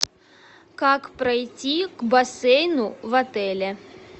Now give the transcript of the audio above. как пройти к бассейну в отеле